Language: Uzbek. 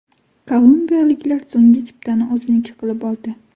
Kolumbiyaliklar so‘nggi chiptani o‘ziniki qilib oldi.